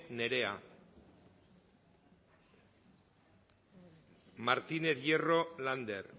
nerea martínez hierro lander